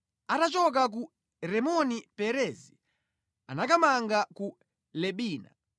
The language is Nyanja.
Atachoka ku Rimoni-Perezi anakamanga ku Libina.